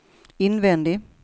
invändig